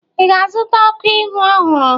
ị ga-azụta ọkụ ihu ọhụrụ?